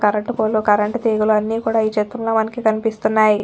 Current pole current తీగలు అన్ని కూడా ఈ చిత్రంలో మనకి చిత్రంలో కన్పిస్తున్నాయి.